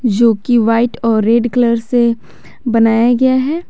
जो की व्हाइट और रेड कलर से बनाया गया है।